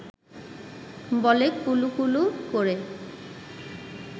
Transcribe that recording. বলে কুলুকুলু করে